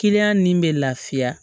Kiliyan nin bɛ lafiya